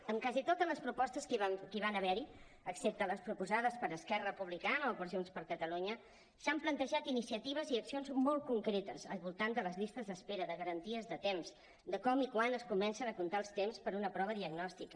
en quasi totes les propostes que hi van haver excepte les proposades per esquerra republicana o per junts per catalunya s’han plantejat iniciatives i accions molt concretes al voltant de les llistes d’espera de garanties de temps de com i quan es comencen a comptar els temps per a una prova diagnòstica